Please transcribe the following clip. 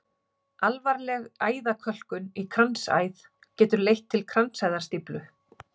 Alvarleg æðakölkun í kransæð getur leitt til kransæðastíflu.